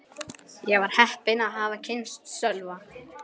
Ég var heppin að hafa kynnst Sölva.